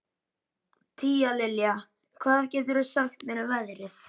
Tíalilja, hvað geturðu sagt mér um veðrið?